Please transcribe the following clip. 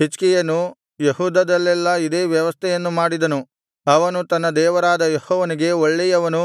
ಹಿಜ್ಕೀಯನು ಯೆಹೂದದಲ್ಲೆಲ್ಲಾ ಇದೇ ವ್ಯವಸ್ಥೆಯನ್ನು ಮಾಡಿದನು ಅವನು ತನ್ನ ದೇವರಾದ ಯೆಹೋವನಿಗೆ ಒಳ್ಳೆಯವನೂ